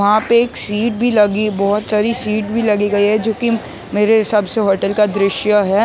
वहां पे एक सीट भी लगी बहोत सारी सीट भी लगी गई है जो कि मेरे हिसाब से होटल का दृश्य है।